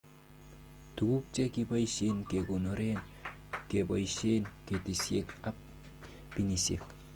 Tuguk che kiboishen kekonoren keboishen katisiek ab binisiek